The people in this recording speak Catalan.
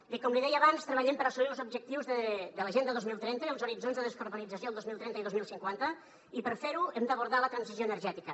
i com li deia abans treballem per assolir los objectius de l’agenda dos mil trenta i els horitzons de descarbonització del dos mil trenta i dos mil cinquanta i per fer ho hem d’abordar la transició energètica